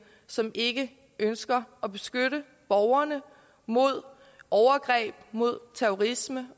som ikke ønsker at beskytte borgerne mod overgreb mod terrorisme